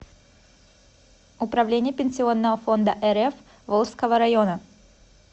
управление пенсионного фонда рф волжского района